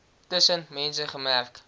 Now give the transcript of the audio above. tussen mense gekenmerk